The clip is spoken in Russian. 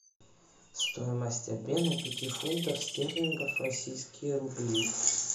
стоимость обмена пяти фунтов стерлингов в российские рубли